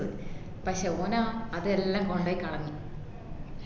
പക്ഷേ ഓനോ അത് എല്ലാം കൊണ്ടോയി കളഞ്ഞു